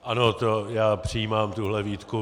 Ano, já přijímám tuhle výtku.